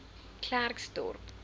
klerksdorp